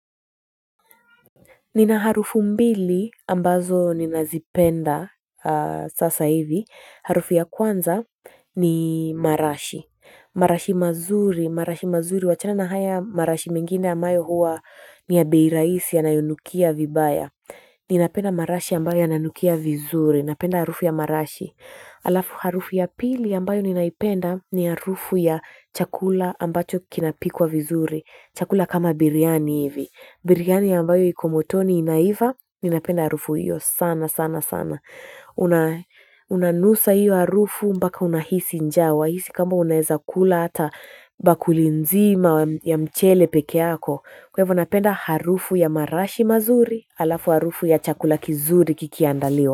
Nina harufu mbili ambazo ninazipenda sasa hivi, harufu ya kwanza ni marashi, marashi mazuri, marashi mazuri, wachana na haya marashi mengine amayo huwa ni ya bei rahisi yanayonukia vibaya. Ninapenda marashi ambayo yananukia vizuri, napenda harufu ya marashi. Alafu harufu ya pili ambayo ninaipenda ni harufu ya chakula ambacho kinapikwa vizuri, chakula kama biryani hivi. Birigani ambayo iko motoni inaiva ninapenda harufu hiyo sana sana sana. Unanusa hiyo harufu mbaka unahisi njaa wahisi kama unaeza kula hata bakuli nzima ya mchele pekeako kwa ivo napenda harufu ya marashi mazuri. Alafu harufu ya chakula kizuri kikiandaliwa.